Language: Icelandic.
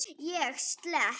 Ég slepp.